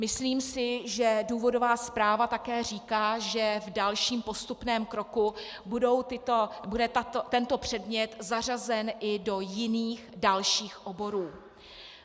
Myslím si, že důvodová zpráva také říká, že v dalším postupném kroku bude tento předmět zařazen i do jiných dalších oborů.